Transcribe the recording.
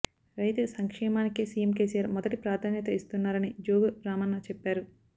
రైతు సంక్షేమానికే CM KCR మొదటి ప్రాధాన్యత ఇస్తున్నారని జోగు రామన్న చెప్పారు